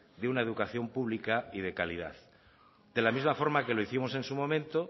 de una educación pública y de calidad de la misma forma que lo hicimos en su momento